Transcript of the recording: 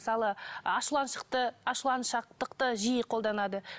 мысалы ашуланшақтықты жиі қолданады